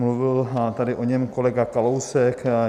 Mluvil tady o něm kolega Kalousek.